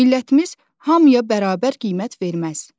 Millətimiz hamıya bərabər qiymət verməz.